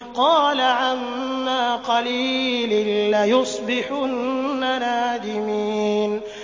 قَالَ عَمَّا قَلِيلٍ لَّيُصْبِحُنَّ نَادِمِينَ